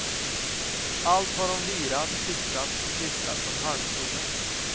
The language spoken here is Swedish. Allt har hon virat, fixat och klistrat på en halmstomme.